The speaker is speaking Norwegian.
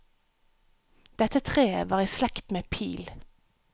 Dette treet var i slekt med pil.